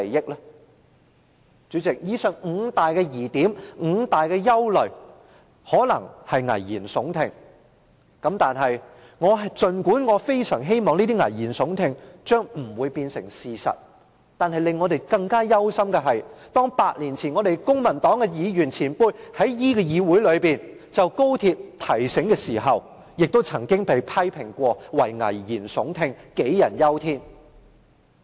代理主席，以上的五大疑點、五大憂慮可能是危言聳聽，儘管我非常希望這些聳聽的危言將不會成為事實，但令我們憂心的是 ，8 年前公民黨的議員前輩在議會內就高鐵的提醒，亦曾被批評為危言聳聽、杞人憂天。